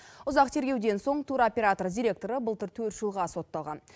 ұзақ тергеуден соң туроператор директоры былтыр төрт жылға сотталған